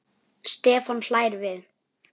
Stefán hlær við.